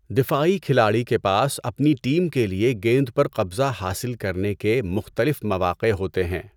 دفاعی کھلاڑی کے پاس اپنی ٹیم کے لیے گیند پر قبضہ حاصل کرنے کے مختلف مواقع ہوتے ہیں۔